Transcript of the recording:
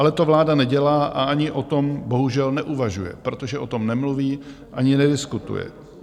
Ale to vláda nedělá a ani o tom bohužel neuvažuje, protože o tom nemluví ani nediskutuje.